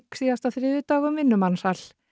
síðasta þriðjudag um vinnumansal